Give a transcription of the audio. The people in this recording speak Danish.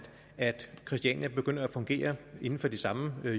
christiania begynder at fungere inden for de samme